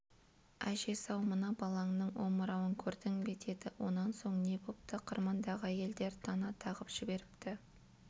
әжесі-ау мына балаңның омырауын көрдің бе деді онан соң не бопты қырмандағы әйелдер тана тағып жіберіпті